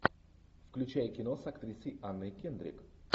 включай кино с актрисой анной кендрик